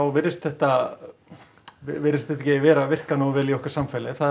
virðist þetta virðist þetta ekki vera að virka nógu vel í okkar samfélagi það